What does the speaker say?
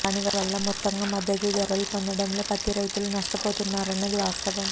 దాని వల్ల మొత్తంగా మద్ధతు ధరలు పొందడంలో పత్తి రైతులు నష్టపోతున్నారన్నది వాస్తవం